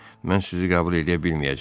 Mən sizi qəbul eləyə bilməyəcəm.